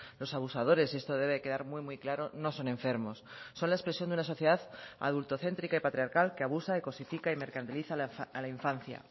los abusadores esto debe quedar muy muy claro no son enfermos son la expresión de una sociedad adultocéntrica y patriarcal que abusa y cosifica y mercantiliza a la infancia